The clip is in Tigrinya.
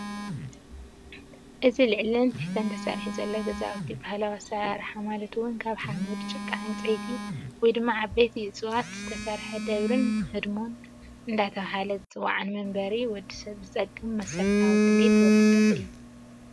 እዚ ልዕለን ትሕተን ተሰሪሑ ዘሎ ገዛውቲ ብባህላዊ ኣሰራርሓ ማለት እውን ካብ ሓመድ፣ ጭቃ፣ ዕንፀይቲ ወይ ድማ ዓበይቲ እፅዋት ዝተሰርሐ ደብርህ ህድሞን እንዳተባህለ ዝፅዋዕ ንመንበሪ ወዲ ሰብ ዝጠቅም መሰረታዊ ድሌት ወዲ ሰብ እዩ፡፡